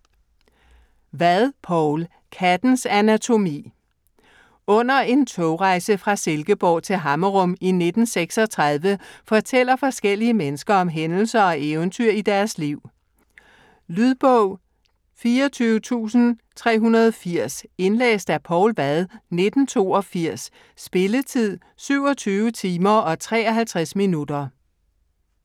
Vad, Poul: Kattens anatomi Under en togrejse fra Silkeborg til Hammerum i 1936 fortæller forskellige mennesker om hændelser og eventyr i deres liv. Lydbog 24380 Indlæst af Poul Vad, 1982. Spilletid: 27 timer, 53 minutter.